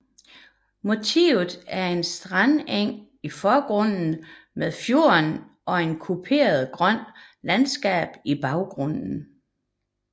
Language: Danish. Motivet er en strandeng i forgrunden med fjorden og et kuperet grønt landskab i baggrunden